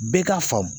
Bɛɛ k'a faamu